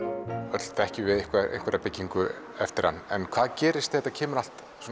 öll þekkjum við einhverja byggingu eftir hann en hvað gerist þegar þetta kemur allt